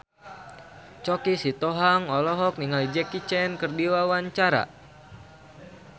Choky Sitohang olohok ningali Jackie Chan keur diwawancara